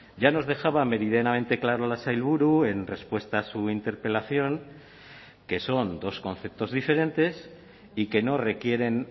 ya nos dejaba meridianamente claro la sailburu en respuesta a su interpelación que son dos conceptos diferentes y que no requieren